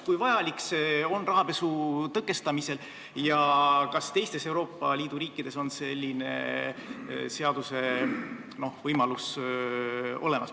Kui vajalik on see rahapesu tõkestamisel ja kas teiste Euroopa Liidu riikide seadustes on selline võimalus olemas?